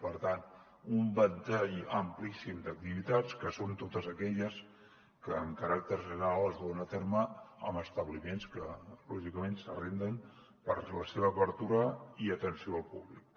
per tant un ventall amplíssim d’activitats que són totes aquelles que amb caràcter general es duen a terme en establiments que lògicament s’arrenden per a la seva obertura i atenció al públic